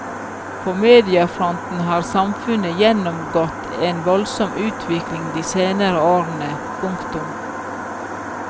På mediafronten har samfunnet gjennomgått en voldsom utvikling de senere årene. punktum